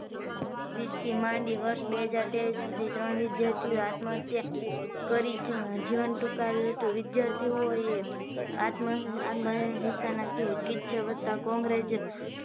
વીસ થી માંડી બે હજાર ત્રેવીસ સુધી ત્રણ વિદ્યાર્થી આત્મ હત્યા કરી જીવન ટુકાવ્યું હતું વિદ્યાર્થીઓએ આત્મ હત્યા કિસ્સા વધતા કોન્ગ્રેજ